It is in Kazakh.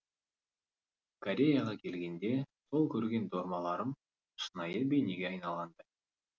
кореяға келгенде сол көрген дормаларым шынайы бейнеге айналғандай